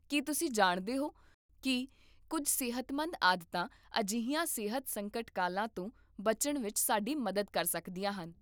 ਕੀ ਤੁਸੀਂ ਜਾਣਦੇ ਹੋ ਕੀ ਕੁੱਝ ਸਿਹਤਮੰਦ ਆਦਤਾਂ ਅਜਿਹੀਆਂ ਸਿਹਤ ਸੰਕਟਕਾਲਾਂ ਤੋਂ ਬਚਣ ਵਿੱਚ ਸਾਡੀ ਮਦਦ ਕਰ ਸਕਦੀਆਂ ਹਨ?